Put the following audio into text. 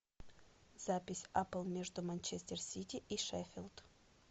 запись апл между манчестер сити и шеффилд